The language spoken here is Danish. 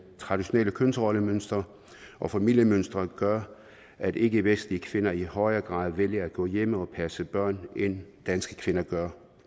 traditionelle kønsrollemønstre og familiemønstre gør at ikkevestlige kvinder i højere grad vælger at gå hjemme og passe børnene end danske kvinder gør